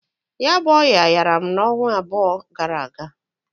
Ya bu ọya yara m n'onwa ịbụa gara aga.